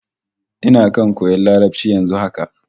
Ina kan koyan Larabci yanzu haka